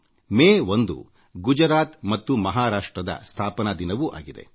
ಮೇ ೧ ಗುಜರಾತ್ ಮತ್ತು ಮಹಾರಾಷ್ಟ್ರದ ಸ್ಥಾಪನಾ ದಿನವೂ ಆಗಿದೆ